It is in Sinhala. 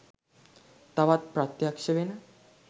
තවත් ප්‍රත්‍යක්ශ වෙන.